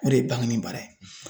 O de ye bangini baara ye